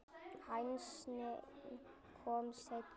Hænsnin komu seinna.